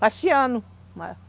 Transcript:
Faxeando.